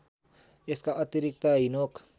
यसका अतिरिक्त हिनोक